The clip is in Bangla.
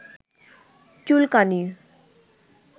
চুলকানি